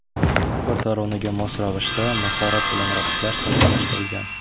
Har bir taronaga mos ravishda mahorat bilan raqslar sahnalashtirilgan.